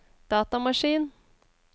datamaskin